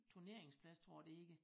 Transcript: Turneringsplads tror jeg det hedder